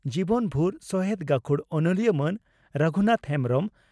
ᱡᱤᱵᱚᱱ ᱵᱷᱩᱨ ᱥᱚᱦᱮᱛ ᱜᱟᱹᱠᱷᱩᱲ ᱚᱱᱚᱞᱤᱭᱟᱹ ᱢᱟᱱ ᱨᱚᱜᱷᱩᱱᱟᱛᱷ ᱦᱮᱢᱵᱽᱨᱚᱢ